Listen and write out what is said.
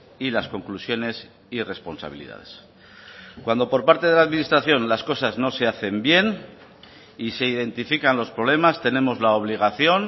y las conclusiones y responsabilidades cuando por parte de la administración las cosas no se hacen bien y se identifican los problemas tenemos la obligación